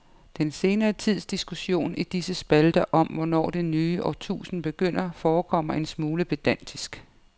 Den senere tids diskussion i disse spalter om hvornår det nye årtusind begynder forekommer en smule pedantisk.